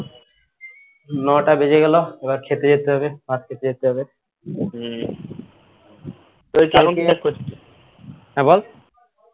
নটা বেজে গেল এবার খেতে যেতে হবে ভাত খেতে যেতে হবে হ্যাঁ বল